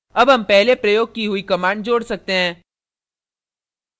add हम पहले प्रयोग की हुई command जोड़ सकते हैं